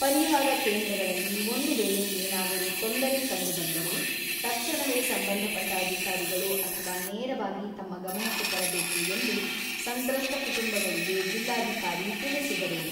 ಪರಿಹಾರ ಕೇಂದ್ರಗಳಲ್ಲಿ ಒಂದು ವೇಳೆ ಏನಾದರೂ ತೊಂದರೆ ಕಂಡುಬಂದರೆ ತಕ್ಷಣವೇ ಸಂಬಂಧಪಟ್ಟ ಅಧಿಕಾರಿಗಳು ಅಥವಾ ನೇರವಾಗಿ ತಮ್ಮ ಗಮನಕ್ಕೆ ತರಬೇಕು ಎಂದು ಸಂತ್ರಸ್ತ ಕುಟುಂಬಗಳಿಗೆ ಜಿಲ್ಲಾಧಿಕಾರಿ ತಿಳಿಸಿದರು.